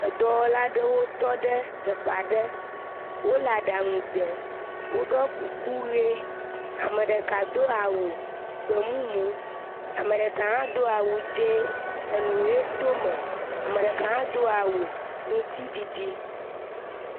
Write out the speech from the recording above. Edɔwɔla aɖewo tɔ ɖe teƒe aɖe, wole aɖaŋu ɖem woɖɔ kuku ʋe, ame ɖeka do awu gbemumu, ame ɖeka hã do awu dzɛ enu to eme, ame ɖeka hã do awu ŋutiɖiɖi.